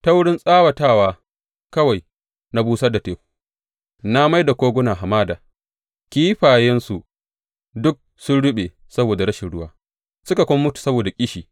Ta wurin tsawatawa kawai na busar da teku, na mai da koguna hamada; kifayensu duk sun ruɓe saboda rashin ruwa suka kuma mutu saboda ƙishi.